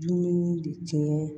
Dumuni de tiɲɛ